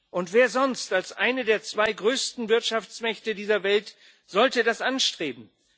Und wer sonst als eine der zwei größten Wirtschaftsmächte dieser Welt sollte das anstreben?